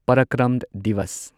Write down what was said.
ꯄꯔꯀ꯭ꯔꯝ ꯗꯤꯋꯁ